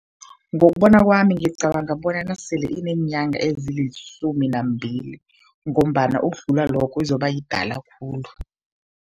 Ngokubona kwami ngicabanga bona nasele ineenyanga ezilisumi nambili ngombana ukudlula lokho izobayidala khulu.